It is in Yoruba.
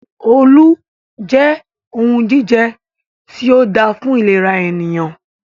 Olú jẹ́ ohun jíjẹ tí o dáa fún ìlera ènìyàn.